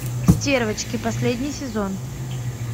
стервочки последний сезон